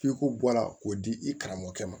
F'i ko bɔ a la k'o di i karamɔgɔkɛ ma